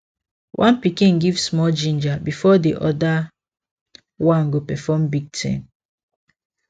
one pikin give small ginger before the other one go perform big thing